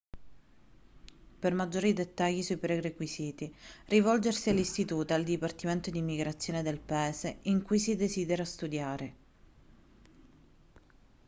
per maggiori dettagli sui prerequisiti rivolgersi all'istituto e al dipartimento d'immigrazione del paese in cui si desidera studiare